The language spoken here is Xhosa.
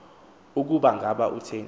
ukuba ngaba kutheni